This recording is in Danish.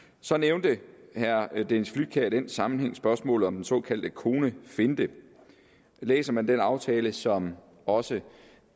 så nævnte herre dennis flydtkjær i den sammenhæng spørgsmålet om den såkaldte konefinte læser man den aftale i finansloven som også